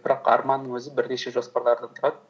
бірақ арманның өзі бірнеше жоспарлардан тұрады